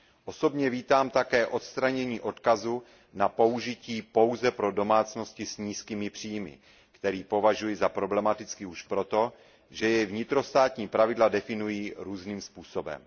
Osobně vítám také odstranění odkazu na použití pouze pro domácnosti s nízkými příjmy, který považuji za problematický už proto, že jej vnitrostátní pravidla definují různým způsobem.